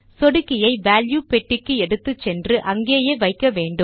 சொடுக்கியை வால்யூ பெட்டிக்கு எடுத்துச் சென்று அங்கேயே வைக்க வேண்டும்